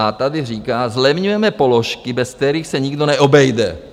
A tady říká: Zlevňujeme položky, bez kterých se nikdo neobejde.